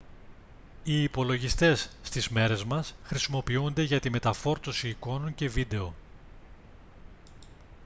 οι υπολογιστές στις μέρες μας χρησιμοποιούνται για τη μεταφόρτωση εικόνων και βίντεο